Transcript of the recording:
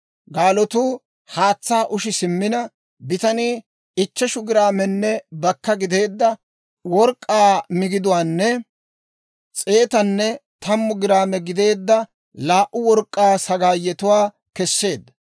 Gaalotuu haatsaa ushi simmiina, bitanii ichcheshu giraamenne bakka gideedda work'k'aa migiduwaanne, s'eetanne tammu giraame gideedda laa"u work'k'aa sagaayetuwaa keseedda;